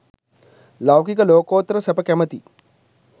ලෞකික ලෝකෝත්තර සැප කැමති